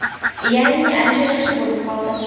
Ya’ni ancha yaxshi bo‘lib qoldim.